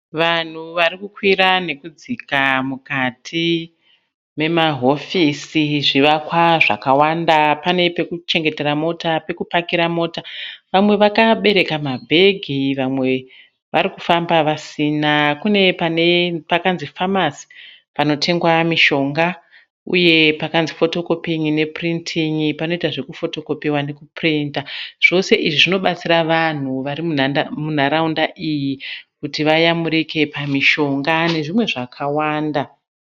Vanhu varikukwira nekudzika mukati memahofisi, zvivakwa zvakawanda pane pekuchengetera mota ,pekupakira mota. Vamwe vakabereka ma bhegi, vamwe varikufamba vasina kune pakanzi "phamarcy" panotengwa mishonga .Uye pakanzi "photocopying "ne "printing" panoitwa zvekufotokopewa nekupurinta zvose izvi zvinobatsira vanhu varimunarawunda iyi kuti vabatsirikane pamishonga nezvimwe zvakawanda.